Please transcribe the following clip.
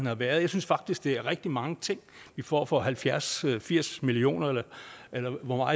har været og jeg synes faktisk det er rigtig mange ting vi får for halvfjerds til firs million kr eller hvor